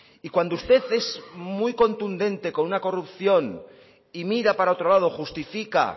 y cuando usted es muy contundente con una corrupción y mira para otro lado justifica